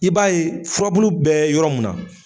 I b'a ye furabulu bɛ yɔrɔ mun na.